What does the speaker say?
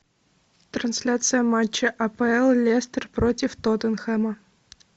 трансляция матча апл лестер против тоттенхэма